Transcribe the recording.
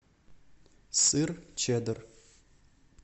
сыр чеддер